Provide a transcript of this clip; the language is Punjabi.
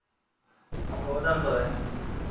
ਆਹੋ ਉਹ ਤੇ ਤੁਹਾਨੂੰ ਨੀ।